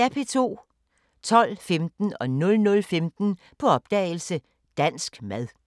12:15: På opdagelse – Dansk mad 00:15: På opdagelse – Dansk mad